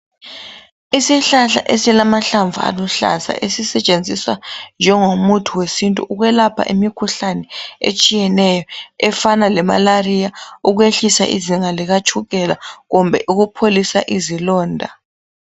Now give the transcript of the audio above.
Isihlahla esilamahlamvu aluhlaza ezisetshenziswa njengomuthi wesintu ukwelapha imikhuhlane etshiyeneyo efana lemalaria, ukwehlisa izinga likatshukela kumbe ukupholisa izilonda.